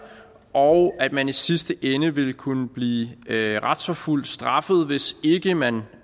og at man i sidste ende vil kunne blive retsforfulgt straffet hvis ikke man